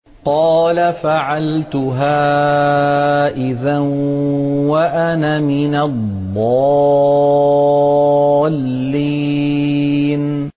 قَالَ فَعَلْتُهَا إِذًا وَأَنَا مِنَ الضَّالِّينَ